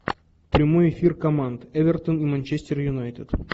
прямой эфир команд эвертон и манчестер юнайтед